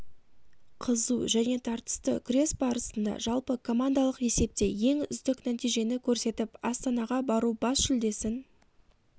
қызу және тартысты күрес барысында жалпы командалық есепте ең үздік нәтижені көрсетіп астанаға бару бас жүлдесін